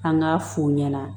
An k'a f'u ɲɛna